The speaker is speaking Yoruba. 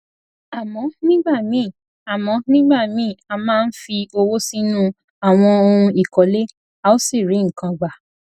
àmọ nígbà míì àmọ nígbà míì a máa ń fi owó sínú àwọn ohun ìkọlé a ò sì rí nǹkan gbà